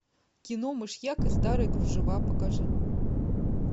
кино мышьяк и старые кружева покажи